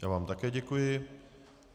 Já vám také děkuji.